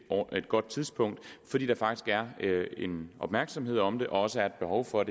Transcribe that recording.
godt tidspunkt fordi der faktisk er en opmærksomhed om det og også er et behov for